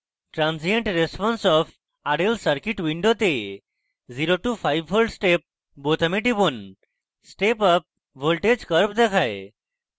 transient response of rl circuit window 0 to 5v step বোতামে টিপুন step up voltage curve দেখায়